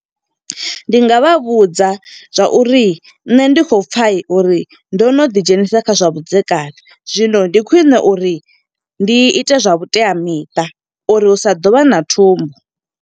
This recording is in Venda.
Ndi nga vha vhudza zwa uri nṋe ndi kho pfa uri ndo no ḓi dzhenisa kha zwa vhudzekani, zwino ndi khwiṋe uri ndi ite zwa vhuteamiṱa. Uri hu sa ḓo vha na thumbu.